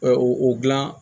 Ɛ o gilan